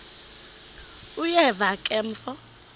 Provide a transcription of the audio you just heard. uyeva ke mfo